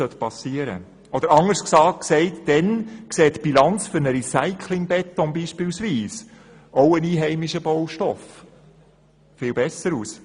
Da sieht zum Beispiel die Bilanz für einen Recycling-Beton – auch ein einheimischer Beton – viel besser aus.